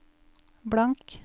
blank